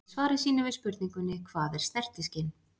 Í svari sínu við spurningunni Hvað er snertiskyn?